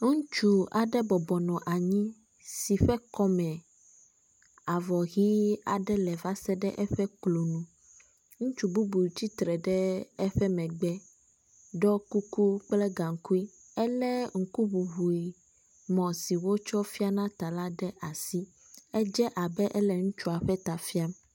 Ŋutsu aɖe bɔbɔnɔ anyi si ƒe kɔme avɔ ʋi aɖe le va se ɖe eƒe klo nu. Ŋutsu bubu tsitre eƒe megbe ɖɔ kuku kple gaŋkui. Ele ŋkuŋuŋui mɔ si wotsɔ fiana ta la ɖe asi. Ede abe ele ŋutsua ƒe ta fiam.